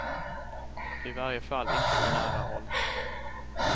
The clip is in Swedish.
I varje fall inte på nära håll.